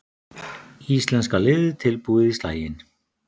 Íslenska liðið tilbúið í slaginn